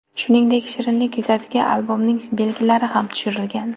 Shuningdek, shirinlik yuzasiga albomning belgilari ham tushirilgan.